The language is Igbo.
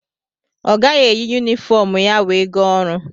Ọ gaghị eyi yumifọm ya wee gaa ọrụ.